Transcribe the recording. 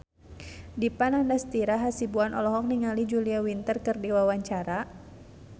Dipa Nandastyra Hasibuan olohok ningali Julia Winter keur diwawancara